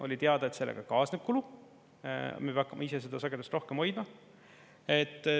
Oli teada, et sellega kaasneb kulu, me peame hakkama ise seda sagedust rohkem hoidma.